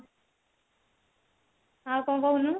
ଆଉ କଣ କହୁନୁ